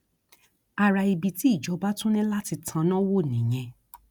ara ibi tí ìjọba tún ní láti tanná wò nìyẹn